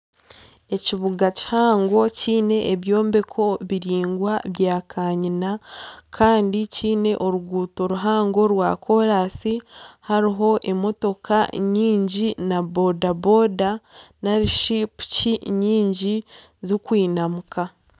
Ekibuga kihango kiine ebyombeko biraingwa bya kanyina Kandi kyiine oruguuto ruhango rwa kolansi hariho emotoka nyingi na boda-boda narishi piki nyingi zirikwinamuka